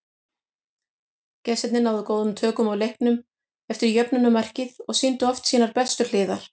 Gestirnir náðu góðum tökum á leiknum eftir jöfnunarmarkið og sýndu oft sínar bestu hliðar.